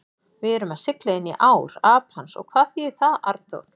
Og við erum að sigla inní ár Apans og hvað þýðir það, Arnþór?